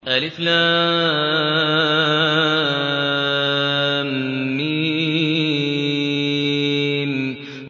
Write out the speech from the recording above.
الم